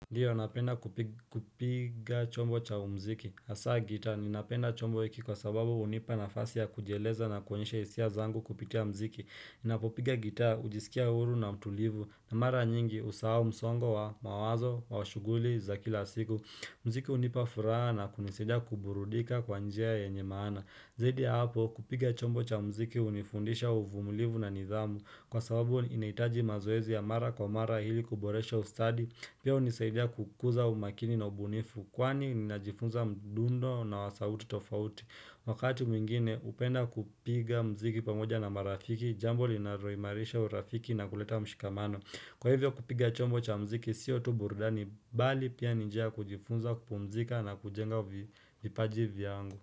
Ndiyo napenda kupiga chombo cha umziki, hasaa gitaa, ninapenda chombo hiki kwa sababu hunipa nafasi ya kujieleza na kuonyesha hisia zangu kupitia mziki Ninapopiga gitaa, hujisikia huru na mtulivu, na mara nyingi usahau msongo wa mawazo wa shughuli za kila siku mziki hunipa furaha na kunisidia kuburudika kwa njia yenye maana Zaidi ya hapo kupiga chombo cha mziki hunifundisha uvumulivu na nidhamu Kwa sababu inahitaji mazoezi ya mara kwa mara ili kuboresha ustadi Pia hunisaidia kukuza umakini na ubunifu kwani ninajifunza mdundo na wasauti tofauti Wakati mwingine hupenda kupiga mziki pamoja na marafiki Jambo linaloimarisha urafiki na kuleta mshikamano Kwa hivyo kupiga chombo cha mziki sio tu burudani bali pia ni njia kujifunza kupumzika na kujenga vipaji vyangu.